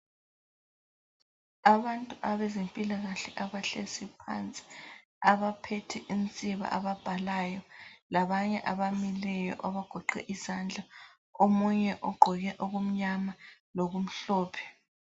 Abantu abezempilakahle abahlezi phansi abaphethe insiba ababhalayo labanye abamile abagoqe izandla omunye ogqoke okumnyama lokumhlophe.